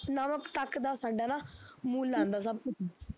ਨਮਕ ਤੱਕ ਦਾ ਸਾਡਾ ਨਾ, ਮੁੱਲ ਆਦਾ ਸਭ ਕੁਛ